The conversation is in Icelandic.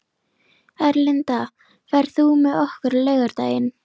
Erlinda, ferð þú með okkur á laugardaginn?